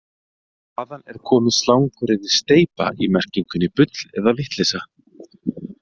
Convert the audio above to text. Hvaðan er komið slanguryrðið steypa í merkingunni bull eða vitleysa?